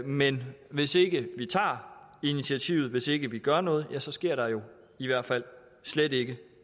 men hvis ikke vi tager initiativet hvis ikke vi gør noget ja så sker der jo i hvert fald slet ikke